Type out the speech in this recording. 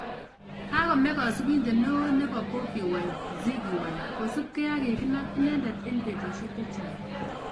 Kagome kasubinet neo nebo bobi wine:Ziggy wine kosupke ak kiginam inendet eng betusiek chechang